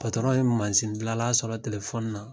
ye masindilanla sɔrɔ telefɔni na